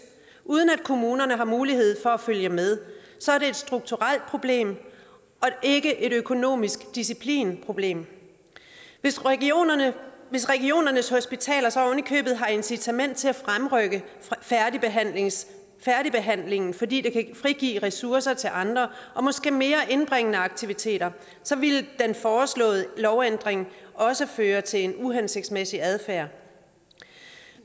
uden at kommunerne har mulighed for at følge med så er det et strukturelt problem og ikke et økonomisk disciplinproblem hvis regionernes hvis regionernes hospitaler så ovenikøbet har incitament til at fremrykke færdigbehandlingen færdigbehandlingen fordi det kan frigive ressourcer til andre og måske mere indbringende aktiviteter så ville den foreslåede lovændring også føre til en uhensigtsmæssig adfærd